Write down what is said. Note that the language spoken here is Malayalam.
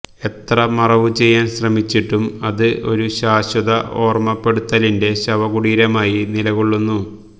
എത്ര മറവുചെയ്യാൻ ശ്രമിച്ചിട്ടും അത് ഒരു ശാശ്വത ഓർമപ്പെടുത്തലിന്റെ ശവകുടീരമായി നിലകൊള്ളുന്നു